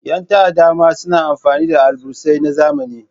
Ƴan ta'adda ma sna amfani da alburusai na zamani.